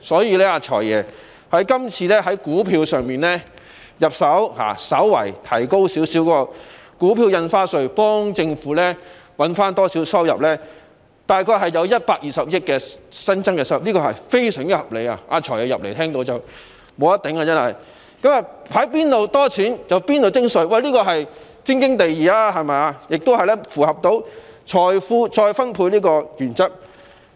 因此，"財爺"今次從股票市場入手，稍為提高股票印花稅，為政府增加少許收入，大約有120億元新增稅收，實在是非常合理的——"財爺"剛返回會議廳聽到我的發言，這項措施真是"無得頂"——從資金充裕的市場徵稅，固然是天經地義，亦符合財富再分配的原則。